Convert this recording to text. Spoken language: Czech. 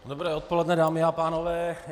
Dobré odpoledne, dámy a pánové.